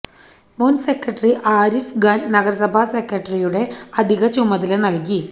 മുന് സെക്രട്ടറി ആരിഫ് ഖാന് നഗരസഭാ സെക്രട്ടറിയുടെ അധിക ചുമതല നല്കി